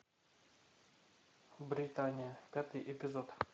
британия пятый эпизод